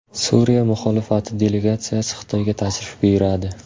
Suriya muxolifati delegatsiyasi Xitoyga tashrif buyuradi.